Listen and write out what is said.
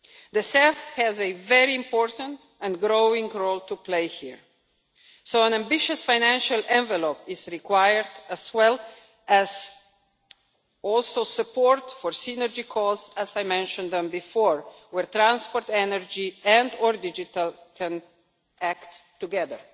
The CEF has a very important and growing role to play here, so an ambitious financial envelope is required, as well as support for synergy costs as I mentioned before, where transport, energy and or digital can act together.